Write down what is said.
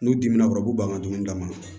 N'u dimina u kɔrɔ u b'u ban ka dumuni d'a ma